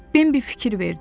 Bembi fikir verdi.